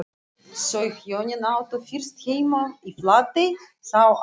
Þau hjónin áttu fyrst heima í Flatey, þá að